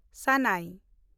ᱥᱟᱱᱟᱭ